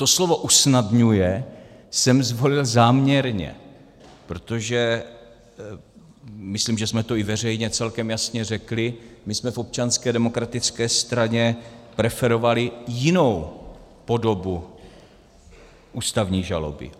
To slovo usnadňuje jsem zvolil záměrně, protože - myslím, že jsme to i veřejně celkem jasně řekli - my jsme v Občanské demokratické straně preferovali jinou podobu ústavní žaloby.